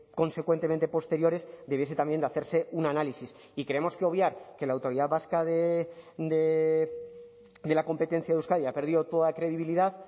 consecuentemente posteriores debiese también de hacerse un análisis y creemos que obviar que la autoridad vasca de la competencia de euskadi ha perdido toda credibilidad